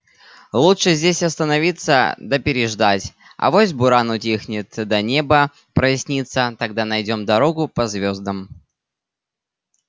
лучше здесь остановиться да переждать авось буран утихнет да небо прояснится тогда найдём дорогу по звёздам